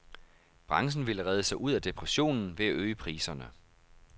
Branchen ville redde sig ud af depressionen ved at øge priserne.